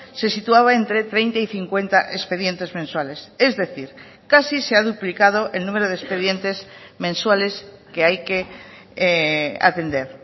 se situaba entre treinta y cincuenta expedientes mensuales es decir casi se ha duplicado el número de expedientes mensuales que hay que atender